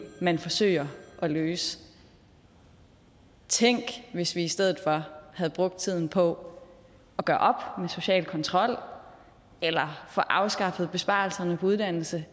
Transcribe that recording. man forsøger at løse tænk hvis vi i stedet for havde brugt tiden på at gøre op med social kontrol få afskaffet besparelserne på uddannelse